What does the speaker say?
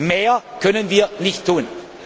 Mehr können wir